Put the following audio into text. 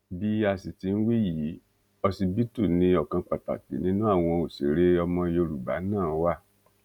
bí a sì ti ń wí yìí ọsibítù ni ọkan pàtàkì nínú àwọn òṣèré ọmọ yorùbá náà wà